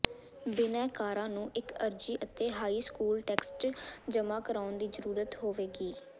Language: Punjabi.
ਬਿਨੈਕਾਰਾਂ ਨੂੰ ਇੱਕ ਅਰਜ਼ੀ ਅਤੇ ਹਾਈ ਸਕੂਲ ਟੈਕਸਟਜ਼ ਜਮ੍ਹਾਂ ਕਰਾਉਣ ਦੀ ਜ਼ਰੂਰਤ ਹੋਵੇਗੀ